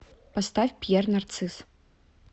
поставь пьер нарцисс